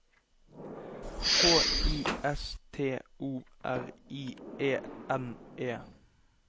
H I S T O R I E N E